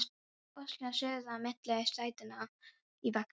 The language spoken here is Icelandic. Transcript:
Heyri óskina suða milli sætanna í vagninum: